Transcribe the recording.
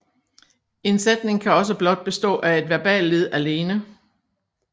En sætning kan også blot bestå af et verballed alene